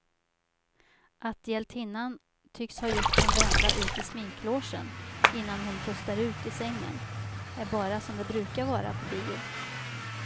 Att hjältinnan tycks ha gjort en vända ut i sminklogen innan hon pustar ut i sängen är bara som det brukar vara på bio.